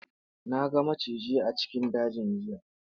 Na ga maciji a cikin dajin jiya.